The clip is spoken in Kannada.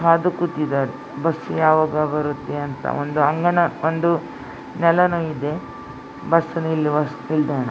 ಕಾದು ಕೂತಿದ್ದಾರೆ ಬಸ್ ಯಾವಾಗ ಬರುತ್ತೆ ಅಂಥ ಒಂದು ಅಂಗನು ಒಂದು ನೆಲನು ಇದೆ ಬಸ್ ನಿಲ್ಲುವ ನಿಲ್ದಾಣ .